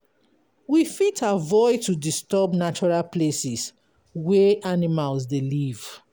We fit avoid to disturb natural places wey animals dey live